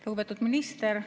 Lugupeetud minister!